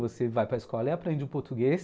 Você vai para escola e aprende o português